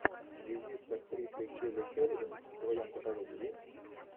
визит с актрисой келли шеридан в твоем каталоге есть